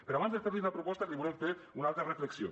però abans de fer los la proposta els volem fer una altra reflexió